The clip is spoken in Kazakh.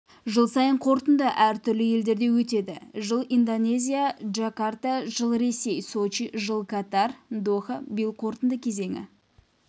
жыл сайын қорытынды әр түрлі елдерде өтеді жыл-индонезия джакарта жыл-ресей сочи жыл-катар доха биыл қорытынды кезеңі